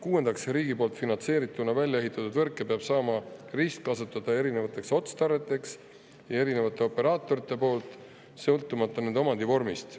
Kuuendaks, riigi poolt finantseerituna välja ehitatud võrke peab saama ristkasutada erinevateks otstarveteks erinevate operaatorite poolt, sõltumata nende omandivormist.